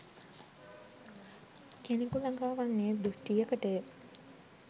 කෙනෙකු ලඟා වන්නේ දෘෂ්ටියකටය.